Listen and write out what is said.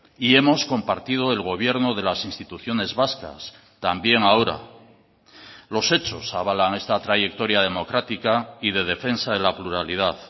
y hemos compartido el gobierno de las instituciones vascas también ahora los hechos avalan esta trayectoria democrática y de defensa de la pluralidad